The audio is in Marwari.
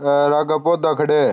हेर आगे पौधा खड्या है।